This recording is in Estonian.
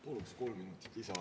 Paluksin kolm minutit lisaaega.